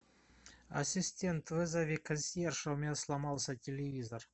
ассистент вызови консьержа у меня сломался телевизор